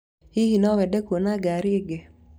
Hihi no wende kuona ngaari ĩngĩ?